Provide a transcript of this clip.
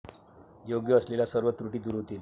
योग्य असलेल्या सर्व त्रुटी दूर होतील.